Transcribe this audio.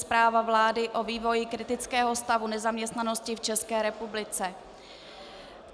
Zpráva vlády o vývoji kritického stavu nezaměstnanosti v České republice